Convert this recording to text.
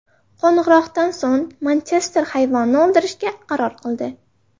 Qo‘ng‘iroqdan so‘ng Manchester hayvonni o‘ldirishga qaror qildi.